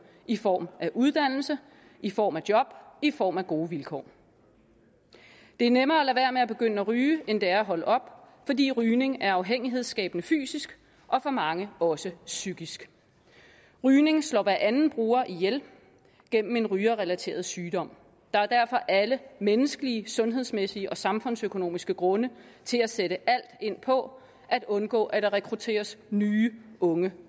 i form af uddannelse i form af job i form af gode vilkår det er nemmere at lade være med at begynde at ryge end det er at holde op fordi rygning er afhængighedsskabende fysisk og for mange også psykisk rygning slår hver anden bruger ihjel gennem en rygerrelateret sygdom der er derfor alle menneskelige sundhedsmæssige og samfundsøkonomiske grunde til at sætte alt ind på at undgå at der rekrutteres nye unge